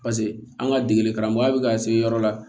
Paseke an ka degeli karamɔgɔya bɛ ka se yɔrɔ la